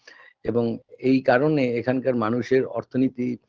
এবং এই কারণে এখানকার মানুষের অর্থনীতি